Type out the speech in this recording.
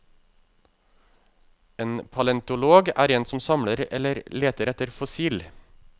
En palentolog er en som samler eller leter etter fossil.